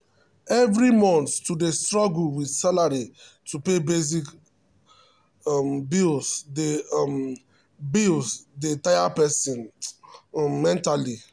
every month to dey struggle with salary to pay basic um bills dey um bills dey um tire person um mentally.